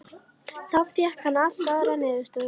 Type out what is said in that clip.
Þá fékk hann allt aðrar niðurstöður.